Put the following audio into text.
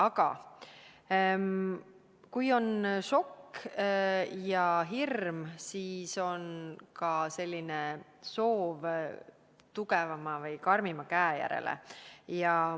Aga kui on šokk ja hirm, siis on ka soov tugevama või karmima käe järele.